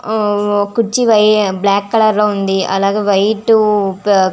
ఆ కుర్చీ black colour లో ఉంది అలాగే వైట్ మ్మ్ --